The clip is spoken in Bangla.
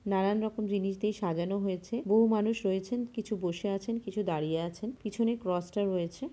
নানান রকম জিনিস দিয়ে সাজানো হয়েছে। বহু মানুষ রয়েছেন। কিছু বসে আছেন কিছু দাঁড়িয়ে আছেন। পিছনে ক্রসটা রয়েছে ।